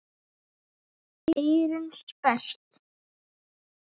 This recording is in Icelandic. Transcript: Eyrun sperrt.